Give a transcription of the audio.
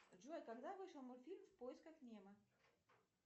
джой когда вышел мультфильм в поисках немо